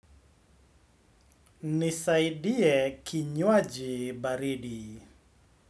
Nisaidie kinywaji baridi.